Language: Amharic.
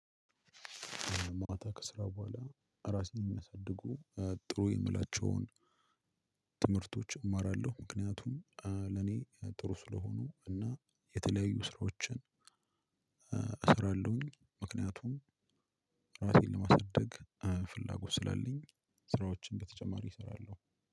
ማታ ከስራ በኋላ ራሴን የሚያሳድጉ ጥሩ የምላቸውን ትምህርቶች እማራለሁ። ምክንያቱም ለኔ ጥሩ ስለሆኑ እና የተለያዩ ስራዎችን እሰራለሁኝ። ምክንያቱም ራሴን ለማሳደግ ፍላጎት ስላለኝ ስራዎችን በተጨማሪ እሰራለሁ።